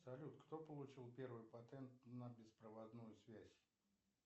салют кто получил первый патент на беспроводную связь